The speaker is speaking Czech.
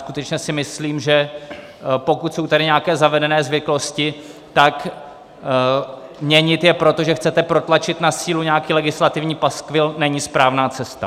Skutečně si myslím, že pokud jsou tady nějaké zavedené zvyklosti, tak měnit je proto, že chcete protlačit na sílu nějaký legislativní paskvil, není správná cesta.